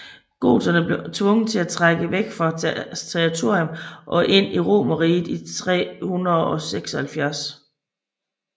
Goterne blev tvunget til at trække væk fra deres territorium og ind i Romerriget i 376